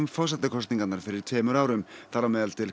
forsetakosningarnar fyrir tveimur árum þar á meðal til